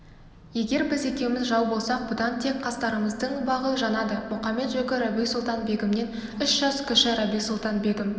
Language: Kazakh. егер біз екеуміз жау болсақ бұдан тек қастарымыздың бағы жанады мұқамет-жөкі рабиу-сұлтан-бегімнен үш жас кіші рабиу-сұлтан-бегім